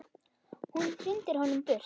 Hún hrindir honum burt.